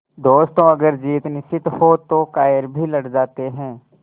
दोस्तों अगर जीत निश्चित हो तो कायर भी लड़ जाते हैं